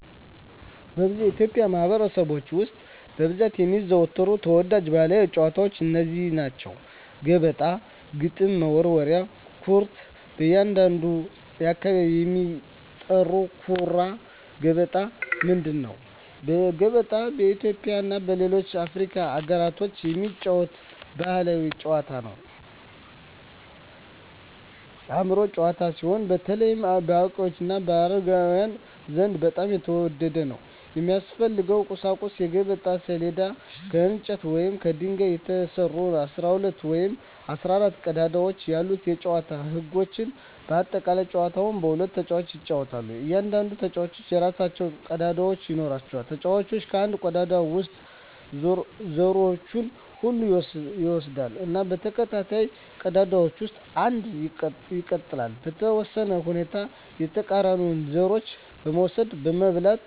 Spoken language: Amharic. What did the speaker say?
በብዙ የኢትዮጵያ ማኅበረሰቦች ውስጥ በብዛት የሚዘወተሩ ተወዳጅ ባሕላዊ ጨዋታዎች እነዚህ ናቸው፦ ገበጣ ግጥም መወርወሪያ / ኩርት (በአንዳንድ አካባቢ የሚጠራ) ኩራ ገበጣ ምንድን ነው? ገበጣ በኢትዮጵያ እና በሌሎች የአፍሪካ አገሮች የሚጫወት ባሕላዊ የአእምሮ ጨዋታ ሲሆን፣ በተለይ በአዋቂዎች እና በአረጋውያን ዘንድ በጣም የተወደደ ነው። የሚያስፈልጉ ቁሳቁሶች የገበጣ ሰሌዳ: ከእንጨት ወይም ከድንጋይ የተሰራ፣ 12 ወይም 14 ቀዳዳዎች ያሉት የጨዋታው ህጎች (በአጠቃላይ) ጨዋታው በሁለት ተጫዋቾች ይጫወታል። እያንዳንዱ ተጫዋች የራሱን ቀዳዳዎች ይኖራል። ተጫዋቹ ከአንድ ቀዳዳ ውስጥ ዘሮቹን ሁሉ ይወስዳል እና በተከታታይ ቀዳዳዎች ውስጥ አንድ አንድ ይጥላል። . በተወሰኑ ሁኔታዎች የተቃራኒውን ዘሮች መውሰድ (መብላት) ይችላል።